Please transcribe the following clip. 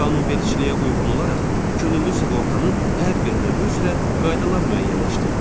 Qanunvericiliyə uyğun olaraq könüllü sığortanın hər bir növü üzrə qaydalar müəyyənləşdirilir.